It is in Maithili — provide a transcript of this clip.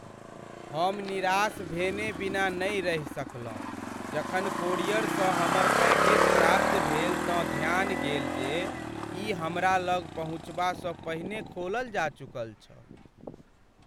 हम निराश भेने बिना नहि रहि सकलहुँ जखन कोरियरसँ हमर पैकेज प्राप्त भेल तँ ध्यान गेल जे ई हमरा लग पहुँचबासँ पहिने खोलल जा चुकल छल।